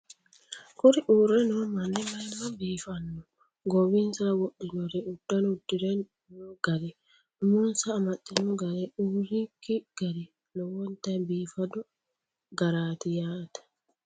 Kuni uurre noo manni maayimma biifanno! Goowinisara wodhinor, uddano uddirino gari, umonisa amaxxino gari, uurinnk gari lowonitta biifado garaat yaate